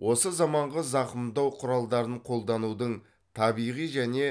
осы заманғы зақымдау құралдарын қолданудың табиғи және